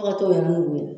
A ka t'o yɔrɔ n'o ye